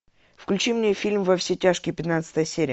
включи мне фильм во все тяжкие пятнадцатая серия